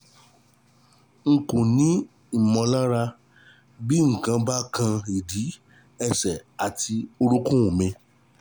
N kò ní ìmọ̀lára bí nǹkan bá kan ìdí, ẹsẹ̀ àti orúnkún mi